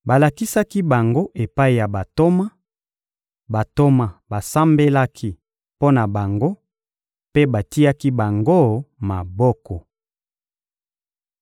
Balakisaki bango epai ya Bantoma; Bantoma basambelaki mpo na bango mpe batiaki bango maboko.